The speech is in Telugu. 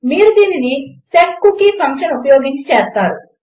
మీరు దీనిని సెట్కూకీ ఫంక్షన్ ఉపయోగించి చేస్తారు